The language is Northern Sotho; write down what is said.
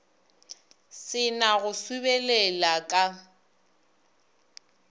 se na go sobelela ka